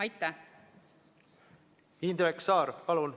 Indrek Saar, palun!